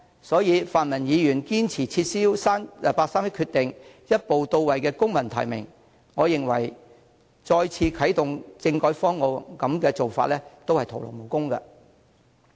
所以，泛民議員堅持撤銷八三一決定，一步到位採用公民提名，我認為即使再次啟動政改方案，也將會徒勞無功。